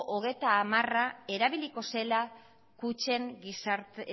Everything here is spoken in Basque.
hogeita hamara erabiliko zela kutxen gizarte